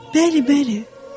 “Bəli, bəli.